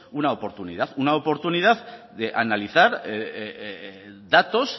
una oportunidad una oportunidad de analizar datos